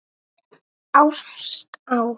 Ást á